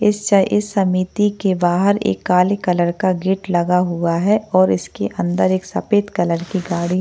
इस च इस समिति के बाहर एक काले कलर का गेट लगा हुआ है और इसके अंदर एक सफेद कलर की गाड़ी--